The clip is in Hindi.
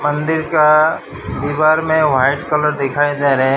मंदिर का दीवार मे व्हाइट कलर दिखाई दे रहे --